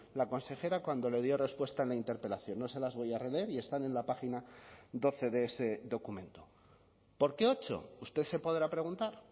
la consejera cuando le dio respuesta a la interpelación no se las voy a releer y están en la página doce de ese documento por qué ocho usted se podrá preguntar